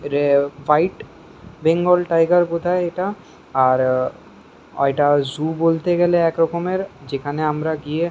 এটা ফাইট Bengal tiger কোথায় এটা আ-র এটা জু বলতে এটা একরকমের যেখানে আমার গিয়ে--